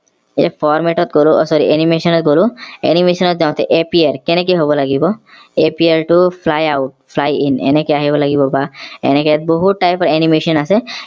এই format ত গলো আহ sorry animation ত গলো animation ত যাওঁতে april কেনেকে হব লাগিব april to fly out fly in এনেকে আহিব লাগিব বা এনেকে বহুত type ৰ animation আছে